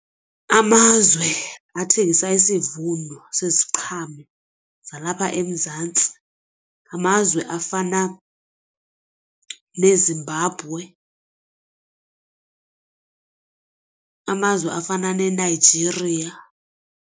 Amazwe athengisa isivuno seziqhamo zalapha eMzantsi ngamazwe afana neZimbabwe, amazwe afana neNigeria.